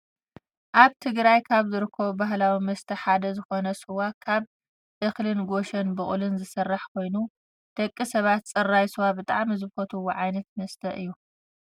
ኣብ ትግራይ ካብ ዝርከቡ ባህላዊ መስተ ሓደ ዝኮነ ስዋ ካብ እክልን ጌሾን ብቁልን ዝስራሕ ኮይኑ፣ ደቂ ሰባት ፅራይ ስዋ ብጣዕሚ ዝፈትውዎ ዓይነት መስተ እዩ።